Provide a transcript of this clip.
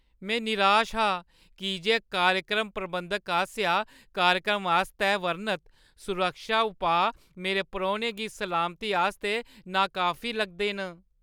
में निराश हा की जे कार्यक्रम प्रबंधक आसेआ कार्यक्रम आस्तै बर्णत सुरक्षा पुआऽ मेरे परौह्‌नें दी सलामती आस्तै नाकाफी लगदे न।